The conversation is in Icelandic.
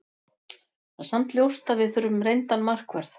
Það er samt ljóst að við þurfum reyndan markvörð.